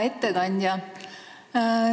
Hea ettekandja!